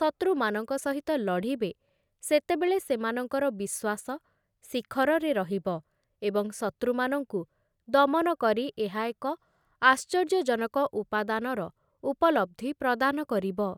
ଶତ୍ରୁମାନଙ୍କ ସହିତ ଲଢ଼ିବେ, ସେତେବେଳେ ସେମାନଙ୍କର ବିଶ୍ୱାସ ଶିଖରରେ ରହିବ ଏବଂ ଶତ୍ରୁମାନଙ୍କୁ ଦମନ କରି ଏହା ଏକ ଆଶ୍ଚର୍ଯ୍ୟଜନକ ଉପାଦାନର ଉପଲବ୍ଧି ପ୍ରଦାନ କରିବ ।